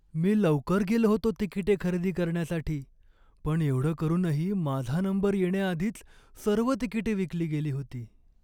मी लवकर गेलो होतो तिकिटे खरेदी करण्यासाठी, पण एवढं करूनही माझा नंबर येण्याआधीच सर्व तिकिटे विकली गेली होती.